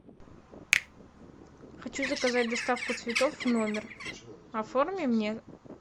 хочу заказать доставку цветов в номер оформи мне